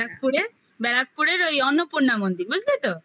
ব্যারাকপুরে ব্যারাকপুরেরওই অন্নপূর্ণা মন্দির বুঝলে তো